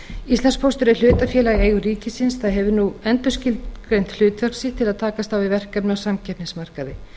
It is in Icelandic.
íslandspóstur er hlutafélag í eigu ríkisins það hefur nú endurskilgreint hlutverk sitt til að takast á við verkefni á samkeppnismarkaði